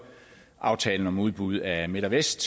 aftalen om udbud af midt vest